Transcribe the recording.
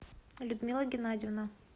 людмила геннадьевна